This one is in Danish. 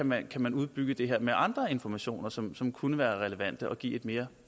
man kan udbygge det her med andre informationer som som kunne være relevante og give et mere